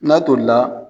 N'a tolila